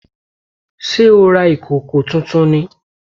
Sé o ra ìkòkò tuntun ni?